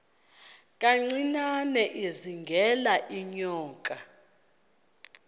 kancinane izingela iinyoka